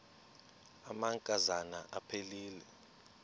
amanka zana aphilele